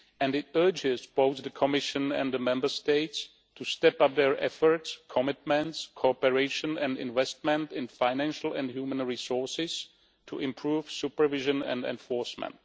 It urges both the Commission and the Member States to step up their efforts, commitments, cooperation and investment in financial and human resources, to improve supervision and enforcement.